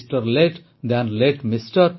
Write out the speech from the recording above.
latte than latte MR